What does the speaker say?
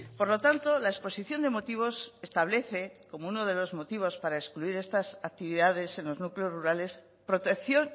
por lo tanto la exposición de motivos establece como uno de los motivos para excluir estas actividades en los núcleos rurales la protección